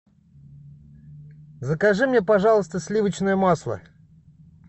закажи мне пожалуйста сливочное масло